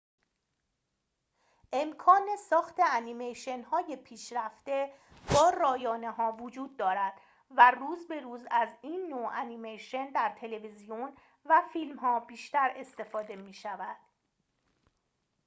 امکان ساخت انیمیشن‌های پیشرفته با رایانه‌ها وجود دارد و روز به روز از این نوع انیمیشن در تلویزیون و فیلم‌ها بیشتر استفاده می‌شود